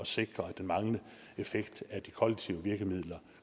sikre at den manglende effekt af de kollektive virkemidler